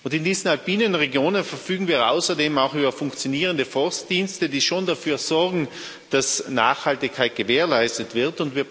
In diesen alpinen Regionen verfügen wir außerdem auch über funktionierende Forstdienste, die schon dafür sorgen, dass Nachhaltigkeit gewährleistet wird.